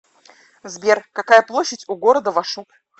сбер какая площадь у города вашук